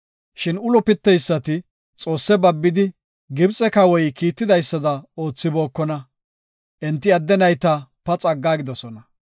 Shin ulo piteysati Xoosse babbidi, Gibxe kawoy kiitidaysada oothibookona. Enti adde nayta paxa aggidosona.